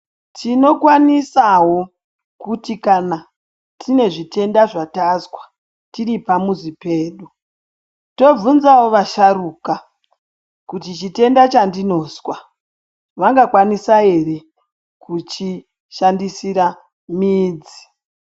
Tinokwanisawo kuti kana tine zvitenda zvatazwa tiri pamuzi pedu, tovhunzawo vasharuka, kuti chitenda chandinozwa vangakwanisa ere kuchishandisira midzi.